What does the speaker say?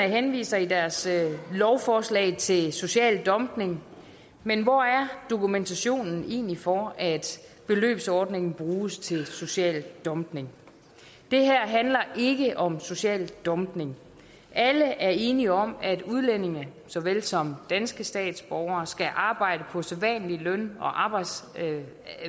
henviser i deres lovforslag til social dumping men hvor er dokumentationen egentlig for at beløbsordningen bruges til social dumping det her handler ikke om social dumping alle er enige om at udlændinge så vel som danske statsborgere skal arbejde på sædvanlige løn og arbejdsvilkår